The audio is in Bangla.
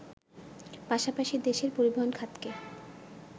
পাশাপাশি দেশের পরিবহন খাতকে